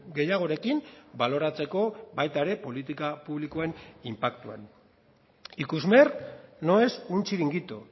gehiagorekin baloratzeko baita ere politika publikoen inpaktuan ikusmer no es un chiringuito